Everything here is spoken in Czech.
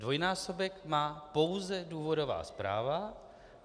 Dvojnásobek má pouze důvodová zpráva.